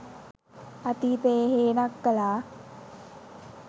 අතීතයේ හේනක් කලා